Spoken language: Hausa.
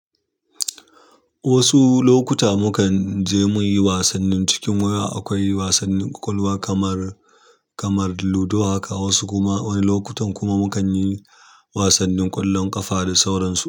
Wasu lokuta mu kan je muyi wasannin cikin waya. Akwai wasannin ƙwaƙwalwa kamar, kamar ludo haka. Wasu kuma wani lokutan kuma mu kanyi wasannin ƙwallon ƙafa da sauransu.